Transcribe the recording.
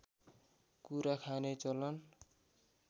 कुरा खाने चलन